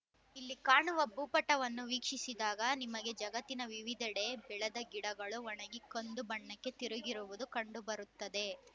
ಇಲ್ಲಿ ಕಾಣುವ ಭೂಪಟವನ್ನು ವೀಕ್ಷಿಸಿದಾಗ ನಿಮಗೆ ಜಗತ್ತಿನ ವಿವಿಧೆಡೆ ಬೆಳೆದ ಗಿಡಗಳು ಒಣಗಿ ಕಂದು ಬಣ್ಣಕ್ಕೆ ತಿರುಗಿರುವುದು ಕಂಡು ಬರುತ್ತದೆ